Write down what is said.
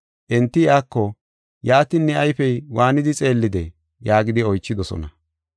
Enti iyako, “Yaatin ne ayfey waanidi xeellidee?” yaagidi oychidosona.